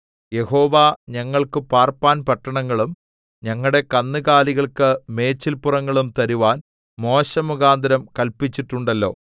യഹോവ ഞങ്ങൾക്ക് പാർപ്പാൻ പട്ടണങ്ങളും ഞങ്ങളുടെ കന്നുകാലികൾക്ക് മേച്ചിൽപ്പുറങ്ങളും തരുവാൻ മോശെമുഖാന്തരം കല്പിച്ചിട്ടുണ്ടല്ലോ